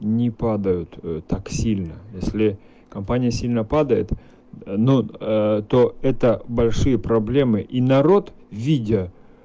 не подают так сильно если компания сильно падает ну то это большие проблемы и народ видя